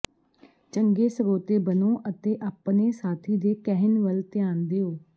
ਚੰਗੇ ਸਰੋਤੇ ਬਣੋ ਅਤੇ ਆਪਣੇ ਸਾਥੀ ਦੇ ਕਹਿਣ ਵੱਲ ਧਿਆਨ ਦਿਓ